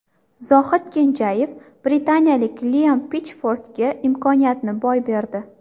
Zohid Kenjayev britaniyalik Liam Pitchfordga imkoniyatni boy berdi.